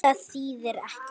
Það þýðir ekkert.